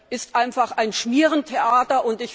ist einfach ein Schmierentheater.